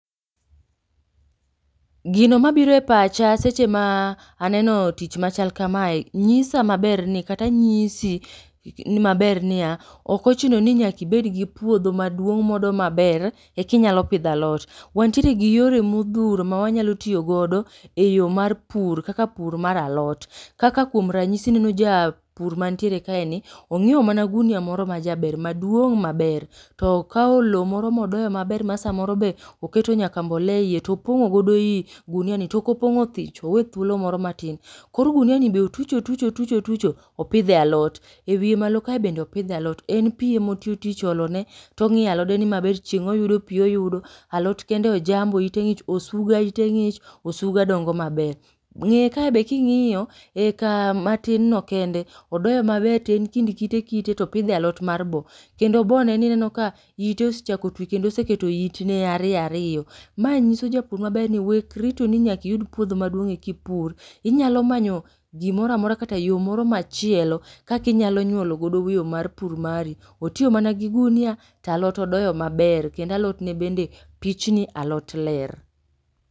Gino mabiro e pacha seche ma aneno tich machal kamae nyisa maber ni kata nyisi ni maber niya, ok ochuno ni nyaka ibed gi puodho maduong' modo , ekinyalo pidho alot. Wantiere gi yore modhuro ma wanyalo tiyo godo e yo mar pur kaka pur mar alot, kaka kuom ranyisi ineno ja japur mantiere kae ni onyioe mana gunia majaber maduong' maber, to okao lo moro modoyo maber ma sa moro be oketo nyaka mbolea e ie to opong'o godo i gunia ni to ok opong'o thich owe thuolo moro matin. Koro gunia ni be otucho otucho otucho, opidhe e alot, e wiye malo kae be opidhe alot. En pi ema otiyo tich olo ne to ong'iya alode ni maber ni chieng' oyudo pi oyudo, alot kende ojambo ite ng'ich osuga ite ng'ich, osuga dongo maber.Ng'eye ka be ka ing'iyo e kama tin no kende, odoyo maber to en kind kite kite to opidhe alot mar bo. Kendo bo ne ni ineno ka ite osechako twi kendo oseketo it ne ariyo ariyo. Mae nyiso japur maber ni wek rito ni nyaki iyud puodho ma duong eka ipur, inyalo manyo gimoro amora kata yo moro machielo, kaka inyalo nyuolo godo yo mar pur mari. Otiyo mana gi gunia to alot odoyo maber, kendo alot ne bende pichni alot ler.